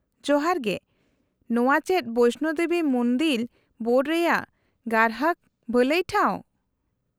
-ᱡᱚᱦᱟᱨ ᱜᱮ, ᱱᱚᱶᱟ ᱪᱮᱫ ᱵᱚᱭᱥᱱᱳ ᱫᱮᱵᱤ ᱢᱩᱱᱫᱤᱞ ᱵᱳᱨᱰ ᱨᱮᱭᱟᱜ ᱜᱽᱨᱟᱦᱚᱠ ᱵᱷᱟᱹᱞᱟᱹᱭ ᱴᱷᱟᱶ ?